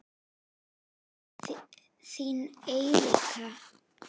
Þín Eiríka.